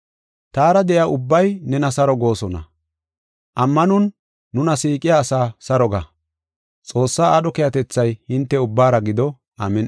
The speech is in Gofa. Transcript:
Taara de7iya ubbay nena saro goosona; ammanon nuna siiqiya asaa saro ga. Xoossaa aadho keehatethay hinte ubbaara gido. Amin7i.